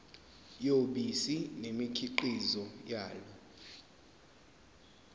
yobisi nemikhiqizo yalo